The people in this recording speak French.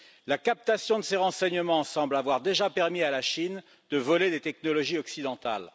La captation de ces renseignements semble avoir déjà permis à la Chine de voler des technologies occidentales.